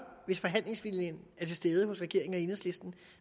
hvis forhandlingsviljen er til stede hos regeringen og enhedslisten